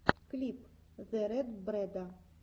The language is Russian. клип зе рэд брэда